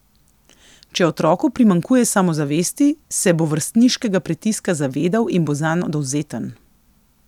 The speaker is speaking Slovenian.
Če otroku primanjkuje samozavesti, se bo vrstniškega pritiska zavedal in bo zanj dovzeten.